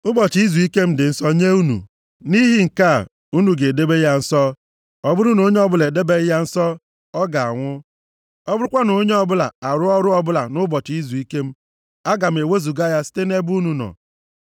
“ ‘Ụbọchị izuike m dị nsọ nye unu. Nʼihi nke a, unu ga-edebe ya nsọ. Ọ bụrụ na onye ọbụla edebeghị ya nsọ, ọ ga-anwụ. Ọ bụrụkwa na onye ọbụla arụọ ọrụ ọbụla nʼụbọchị izuike m, a ga-ewezuga ya site nʼebe unu nọ.